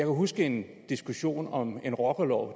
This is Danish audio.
huske en diskussion om en rockerlov